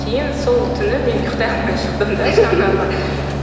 кейін сол түні мен ұйықтай алмай шықтым да